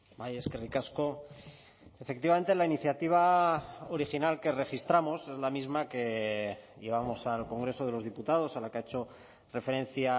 bai eskerrik asko efectivamente la iniciativa original que registramos es la misma que llevamos al congreso de los diputados a la que ha hecho referencia